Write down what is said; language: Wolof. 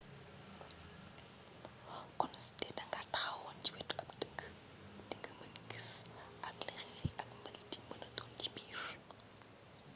kon sudee da nga taxawoon ci wetu ab deq di nga mën gis ak li xeer yi ak mbaliit yi mëna doon ci biir